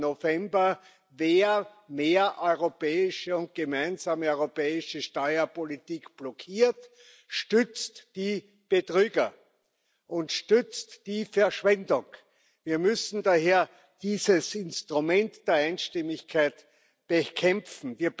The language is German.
8. November Wer mehr europäische und gemeinsame europäische Steuerpolitik blockiert, stützt die Betrüger und stützt die Verschwendung. Wir müssen daher dieses Instrument der Einstimmigkeit bekämpfen.